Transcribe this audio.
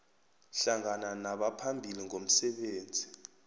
hlangana nabaphambili ngomsebenzi